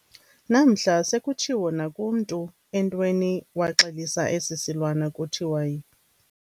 Namhla sekutshiwo nakumntu o] entweni waxelisa esi silwana kuthiwa yi.